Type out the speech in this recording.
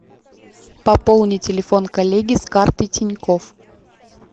пополни телефон коллеги с карты тинькофф